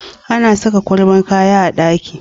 Ana saka kwabar kaya a ɗaki